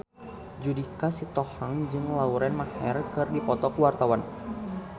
Judika Sitohang jeung Lauren Maher keur dipoto ku wartawan